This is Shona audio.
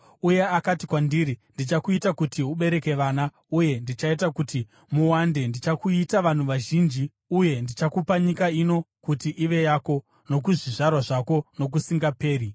uye akati kwandiri, ‘Ndichakuita kuti ubereke vana uye ndichaita kuti muwande. Ndichakuita vanhu vazhinji, uye ndichakupa nyika ino kuti ive yako nokuzvizvarwa zvako nokusingaperi.’